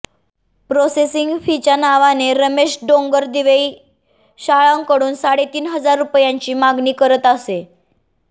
processing फीच्या नावाने रमेश डोंगरदिवे शाळांकडून साडेतीन हजार रुपयांची मागणी करत असे